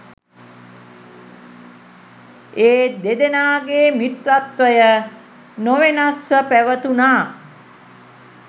ඒ දෙදෙනාගේ මිත්‍රත්වය නොවෙනස්ව පැවතුණා.